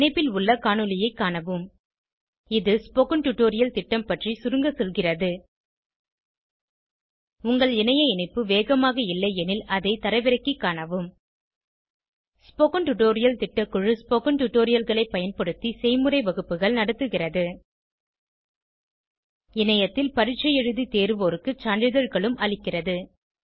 இந்த இணைப்பில் உள்ள காணொளியைக் காணவும் இது ஸ்போகன் டுடோரியல் திட்டம் பற்றி சுருங்க சொல்கிறது உங்கள் இணைய இணைப்பு வேகமாக இல்லையெனில் அதை தரவிறக்கிக் காணவும் ஸ்போகன் டுடோரியல் திட்டக்குழு ஸ்போகன் டுடோரியல்களைப் பயன்படுத்தி செய்முறை வகுப்புகள் நடத்துகிறது இணையத்தில் பரீட்சை எழுதி தேர்வோருக்கு சான்றிதழ்களும் அளிக்கிறது